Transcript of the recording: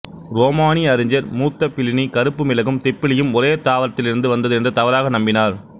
ரோமானிய அறிஞர் மூத்த பிளினி கருப்பு மிளகும் திப்பிலியும் ஒரே தாவாரத்திலிருந்து வந்தது என்று தவறாக நம்பினார்